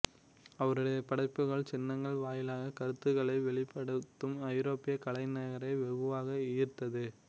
அவருடைய படைப்புகள் சின்னங்கள் வாயிலாக கருத்துக்களை வெளிப்படுத்தும் ஐரோப்பிய கலைஞர்களை வெகுவாக ஈர்த்தது